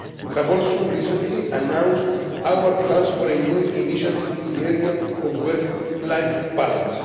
picture. We have also recently announced our plans for a new initiative in the area of work life